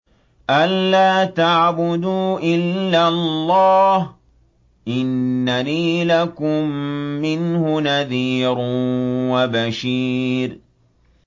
أَلَّا تَعْبُدُوا إِلَّا اللَّهَ ۚ إِنَّنِي لَكُم مِّنْهُ نَذِيرٌ وَبَشِيرٌ